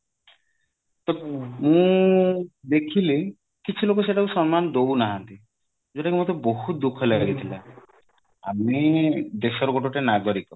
ତ ମୁଁ ଦେଖିଲି କିଛି ଲୋକ ସେଟା କୁ ସମ୍ମାନ ଦଉ ନାହାନ୍ତି ଯୋଉଟା କି ମତେ ବହୁତ ଦୁଖଃ ଲାଗିଥିଲା ଆମେ ଦେଶର ଗୋଟେ ଗୋଟେ ନାଗରିକ